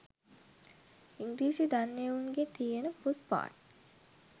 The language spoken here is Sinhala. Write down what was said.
ඉංග්‍රීසි දන්න එවුන්ගේ තියෙන පූස්පාට්